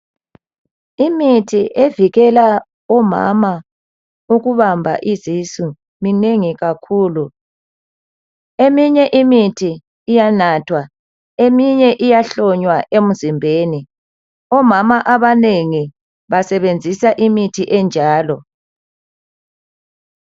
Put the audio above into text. Imithi evikela omama ukubamba izisu minengi kakhulu. Eminye imithi iyanathwa eminye iyahlonywa emzimbeni. Omama abanengi basebenzisa imithi enjalo.